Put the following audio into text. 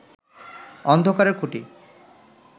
অন্ধকারের খুঁটি